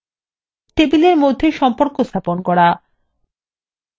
6 table মধ্যে সম্পর্ক স্থাপন করা